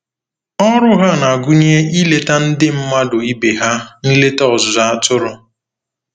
Ọrụ ha na-agụnye ileta ndị mmadụ ibe ha nleta ọzụzụ atụrụ.